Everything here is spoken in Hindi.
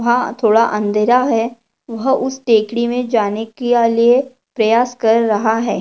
वहा थोड़ा अंधेरा है वह उस टेकड़ी मे जाने केया लिए प्रयास कर रहा है।